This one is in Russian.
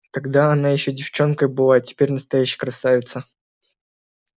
тогда она ещё девчонкой была а теперь настоящая красавица